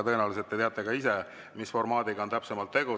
Tõenäoliselt te teate ka ise, mis formaadiga on täpsemalt tegu.